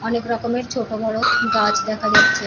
অনেক রকমের ছোট বড় গাছ দেখা যাচ্ছে।